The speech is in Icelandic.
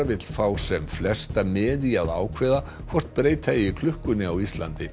vill fá sem flesta með í að ákveða hvort breyta eigi klukkunni á Íslandi